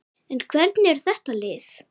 En hvernig er þetta lið?